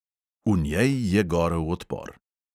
V njej je gorel odpor.